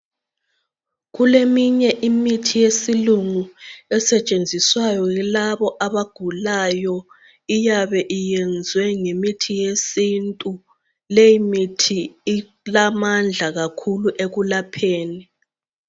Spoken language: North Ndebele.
Kuleminye imithi yesilungu esetshenziswayo yilabo abagulayo iyabe iyenzwe ngemithi yesintu leyi mithi ilamandla kakhulu ekulapheni